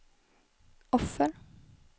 offer